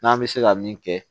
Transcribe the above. N'an bɛ se ka min kɛ